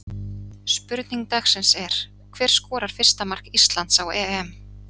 Spurning dagsins er: Hver skorar fyrsta mark Íslands á EM?